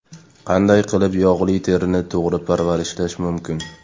Qanday qilib yog‘li terini to‘g‘ri parvarishlash mumkin?